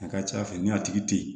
A ka ca ala fɛ ni a tigi tɛ ye